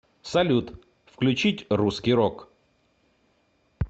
салют включить русский рок